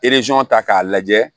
ta k'a lajɛ